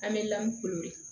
An bɛ lamun kulu ye